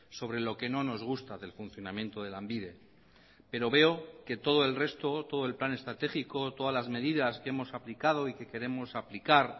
sobre lo que no nos gusta del funcionamiento de lanbide pero veo que todo el resto todo el plan estratégico todas las medidas que hemos aplicado y que queremos aplicar